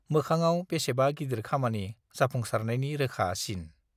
मोखाङाव बेसेबा गिदिर खामानि जाफुंसारनायनि रोखा सिन।